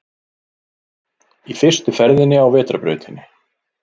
Í fyrstu ferðinni á vetrarbrautinni